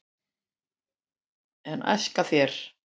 en æska þér